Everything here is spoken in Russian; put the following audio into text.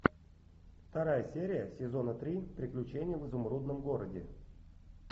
вторая серия сезона три приключения в изумрудном городе